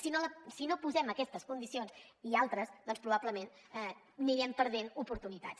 si no posem aquestes condicions i altres doncs probablement anirem perdent oportunitats